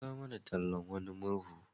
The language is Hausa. An kawo mana tallan wani murhu.